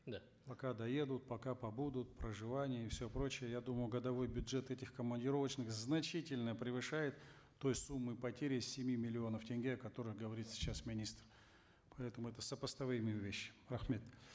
да пока доедут пока побудут проживание и все прочее я думаю годовой бюджет этих командировочных значительно превышает той суммы потери семи миллионов тенге о которых говорит сейчас министр